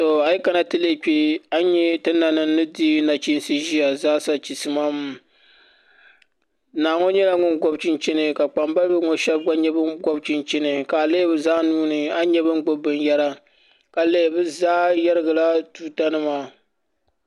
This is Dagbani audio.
A yi kana ti lihi kpɛ a ni nyɛ ti nanim zaasa ni di nachiinsi ʒiya chisi maam naa ŋo nyɛla ŋun gobi chinchini ka kpambalibi ŋo shab gba gobi chinchini ka a lihi bi zaa nuuni a ni nyɛ bi ni gbubi binyɛra ka lihi bi zaa yɛrigila tuuta nima